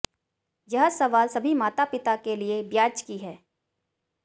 यह सवाल सभी माता पिता के लिए ब्याज की है